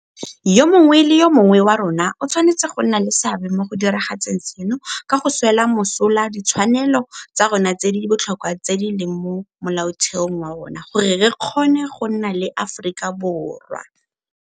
Yo mongwe le yo mongwe wa rona o tshwanetse go nna le seabe mo go diragatseng seno ka go swela mosola ditshwanelo tsa rona tse di botlhokwa tse di leng mo Molaotheong wa rona gore re kgone go nna le Aforika Borwa.